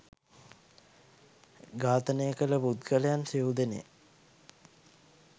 ඝාතනය කල පුද්ගලයන් සිව් දෙනෙක්